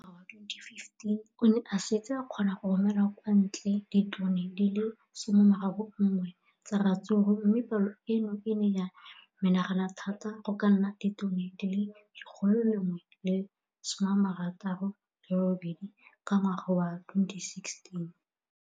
Ka ngwaga wa 2015, o ne a setse a kgona go romela kwa ntle ditone di le 31 tsa ratsuru mme palo eno e ne ya menagana thata go ka nna ditone di le 168 ka ngwaga wa 2016.